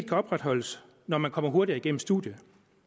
kan opretholdes når man kommer hurtigere igennem studiet